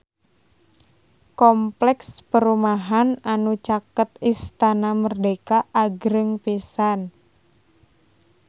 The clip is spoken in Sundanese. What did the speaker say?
Kompleks perumahan anu caket Istana Merdeka agreng pisan